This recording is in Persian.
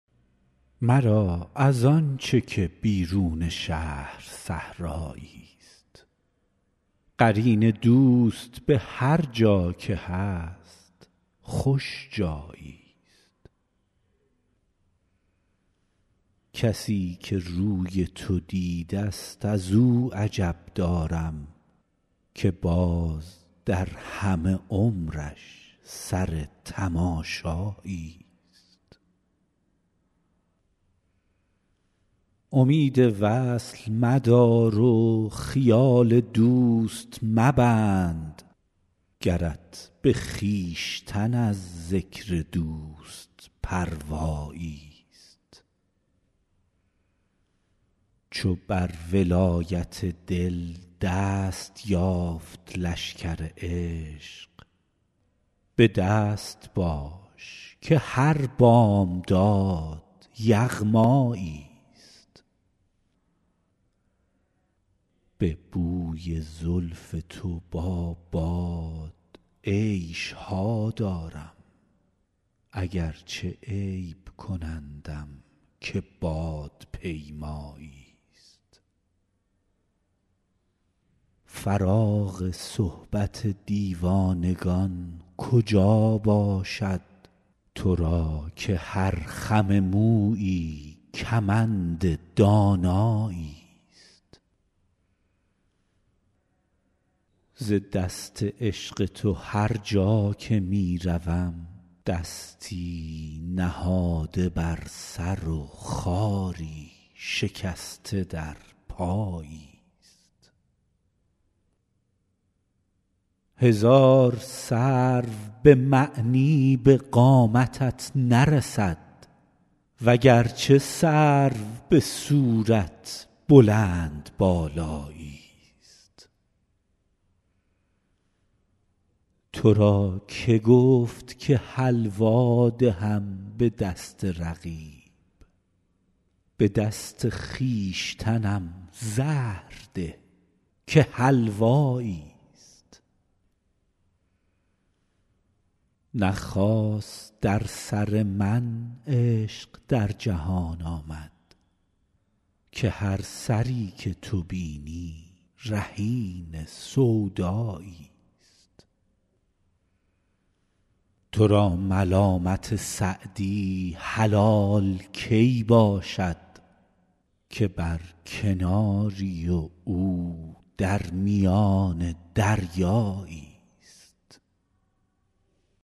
مرا از آن چه که بیرون شهر صحرایی ست قرین دوست به هرجا که هست خوش جایی ست کسی که روی تو دیده ست از او عجب دارم که باز در همه عمرش سر تماشایی ست امید وصل مدار و خیال دوست مبند گرت به خویشتن از ذکر دوست پروایی ست چو بر ولایت دل دست یافت لشکر عشق به دست باش که هر بامداد یغمایی ست به بوی زلف تو با باد عیش ها دارم اگرچه عیب کنندم که بادپیمایی ست فراغ صحبت دیوانگان کجا باشد تو را که هر خم مویی کمند دانایی ست ز دست عشق تو هرجا که می روم دستی نهاده بر سر و خاری شکسته در پایی ست هزار سرو به معنی به قامتت نرسد وگرچه سرو به صورت بلندبالایی ست تو را که گفت که حلوا دهم به دست رقیب به دست خویشتنم زهر ده که حلوایی ست نه خاص در سر من عشق در جهان آمد که هر سری که تو بینی رهین سودایی ست تو را ملامت سعدی حلال کی باشد که بر کناری و او در میان دریایی ست